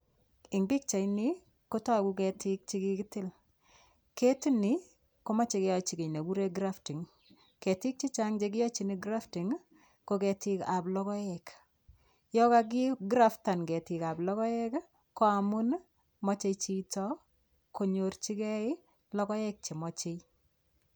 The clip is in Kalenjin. Eng' pikchaini kotoku ketik chekikitil keti ni komochei keyoichi kii nekikuren grafting ketik chechang' chekioichini grafting ko ketikab logoek yo kaki graftan ketikab logoek ko amun mochei chito konyorchigei logoek chemochei